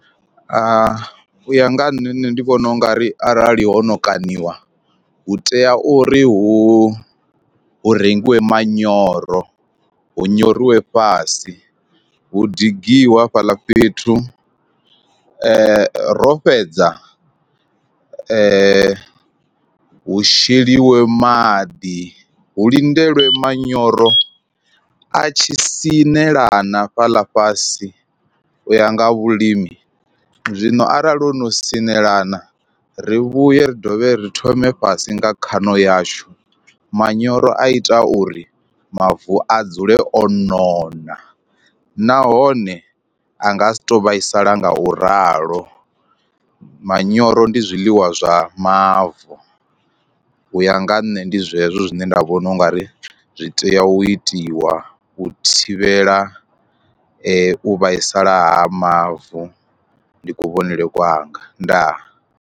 U ya nga ha nṋe nṋe ndi vhona ungari arali hono kaṋiwa hu tea uri hu hu rengiwe manyoro hu nyoriwa fhasi hu digiwe hafhaḽa fhethu ro fhedza hu sheliwa maḓi, hu lindele manyoro a tshi sinela na hafhaḽa fhasi u ya nga ha vhulimi. Zwino arali ho no sinelana ri vhuye ri dovhe ri thome fhasi nga khaṋo yashu, manyoro a ita uri mavu a dzule o nona nahone a nga si to vhaisala nga u ralo, manyoro ndi zwiḽiwa zwa mavu u ya nga ha nṋe ndi zwezwo zwine nda vhona ungari zwi tea u itiwa u thivhela u vhaisala ha mavu ndi kuvhonele kwanga ndaa.